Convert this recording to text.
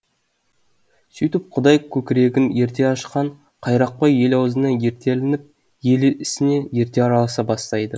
сүйтіп құдай көкірегін ерте ашқан қайрақбай ел ауызына ерте ілініп ел ісіне ерте араласа бастайды